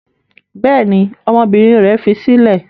Bẹ́ẹ̀ ni, ọmọbìnrin rẹ̀ fi sílẹ̀.